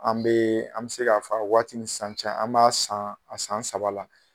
An be, an be se ka fɔ a waati ni sisan cɛ an b'a san saba la.